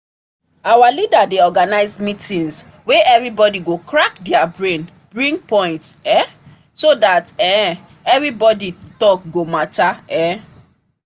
our leader dey organise meeting wey everybody go crack their brain bring points um so that um everybody talk go matter um